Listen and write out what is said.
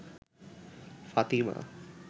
Fatima